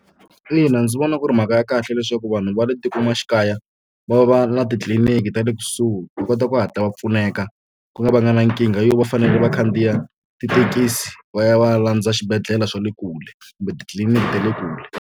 Ina, ndzi vona ku ri mhaka ya kahle leswaku vanhu va le va va na titliliniki ta le kusuhi va kota ku hatla va pfuneka ku nga va nga na nkingha yo va fanele va khandziya tithekisi va ya va ya landza xibedhlele swa le kule kumbe titliliniki ta le kule.